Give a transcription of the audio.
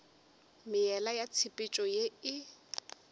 meela ya tshepetšo ye e